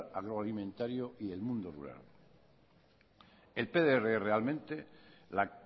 agroalimentario y el mundo rural el pdr realmente la